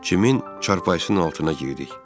Kimin çarpayısının altına girdik.